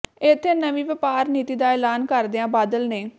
ਇੱਥੇ ਨਵੀਂ ਵਪਾਰ ਨੀਤੀ ਦਾ ਐਲਾਨ ਕਰਦਿਆਂ ਬਾਦਲ ਨੇ